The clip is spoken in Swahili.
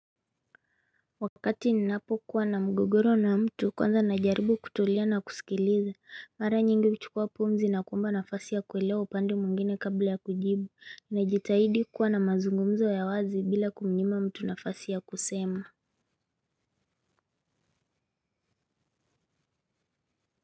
Wakati ninapo kuwa na mgogoro na mtu kwanza na jaribu kutulia na kusikiliza mara nyingi kuchukua pumzi na kuomba nafasi ya kuelewa upande mwingine kabla ya kujibu na jitahidi kuwa na mazungumzo ya wazi bila kumnyima mtu nafasi ya kusema.